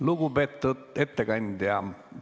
Lugupeetud ettekandja!